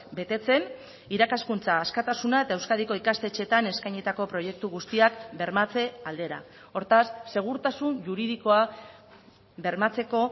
betetzen irakaskuntza askatasuna eta euskadiko ikastetxeetan eskainitako proiektu guztiak bermatze aldera hortaz segurtasun juridikoa bermatzeko